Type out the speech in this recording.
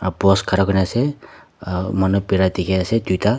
post khara kurna ase uh manu bira dikhi ase duita.